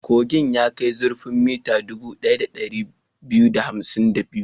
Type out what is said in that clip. Kogin ya kai zurfin mita dubu ɗaya da ɗari biyu da hamsin da biyu.